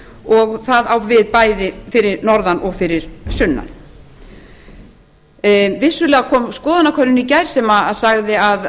og það á við bæði fyrir norðan og fyrir sunnan vissulega kom skoðanakönnun í gær sem sagði að